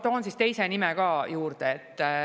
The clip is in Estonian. Toon teise nime ka juurde.